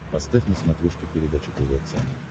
поставь на смотрешке передачу тв центр